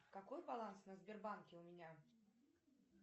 какой баланс на сбербанке у меня